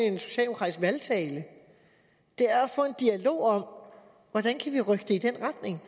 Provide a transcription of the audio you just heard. en socialdemokratisk valgtale det er at få en dialog om hvordan vi kan rykke det i den retning